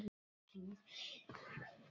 En ég geri það ekki.